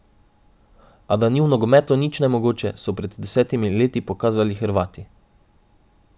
A da v nogometu nič ni nemogoče, so pred desetimi leti pokazali Hrvati.